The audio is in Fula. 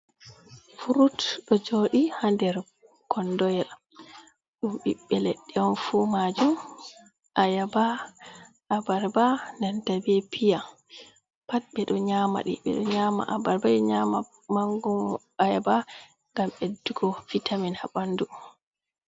Furut, ɗo jooɗi ha der kondo yel, ɗum ɓiɓɓe leɗɗee on fuu majuum, ayaba, abarba nanta be piya pat beɗo nyama ɗi, ɓeɗoo nyama abarba, nyama mangoro ayaba ngam beddugo vitamin haɓandu.